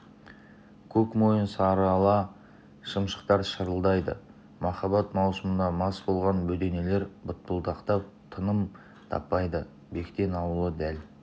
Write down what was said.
көк мойын сарыала шымшықтар шырылдайды махаббат маусымына мас болған бөденелер бытпылдықтап тыным таппайды бектен ауылы дәл